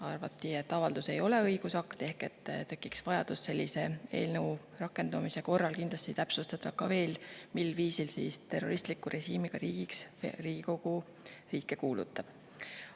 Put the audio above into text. Arvati, et avaldus ei ole õigusakt ehk sellise eelnõu rakendumise korral tekiks kindlasti vajadus täpsustada, mil viisil Riigikogu riike terroristliku režiimiga riikideks kuulutab.